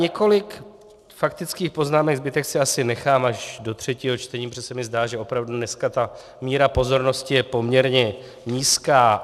Několik faktických poznámek, zbytek si asi nechám až do třetího čtení, protože se mi zdá, že opravdu dneska ta míra pozornosti je poměrně nízká.